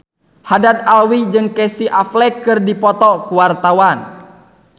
Haddad Alwi jeung Casey Affleck keur dipoto ku wartawan